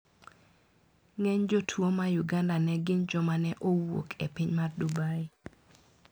Ng`eny jotuo ma Uganda ne gin joma ne ouk e piny mar Dubai.